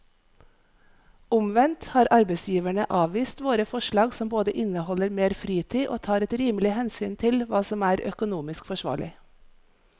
Omvendt har arbeidsgiverne avvist våre forslag som både inneholder mer fritid og tar et rimelig hensyn til hva som er økonomisk forsvarlig.